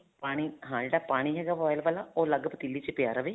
ਪਾਣੀ ਹਾਂ ਜਿਹੜਾ ਪਾਣੀ ਹੈਗਾ boil ਵਾਲਾ ਉਹ ਅਲੱਗ ਪਤੀਲੀ ਚ ਪਇਆ ਰਵੇ